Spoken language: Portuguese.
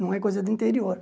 Não é coisa do interior.